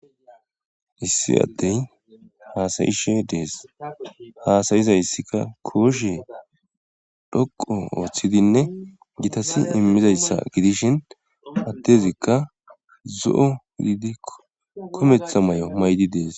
issi addey haasayishe dees haasayizayssika kooshe dhoqo ooththidinne gitasi immizayssa gidishin addezikka zo7o gididi kumeththa may7o may7idi dees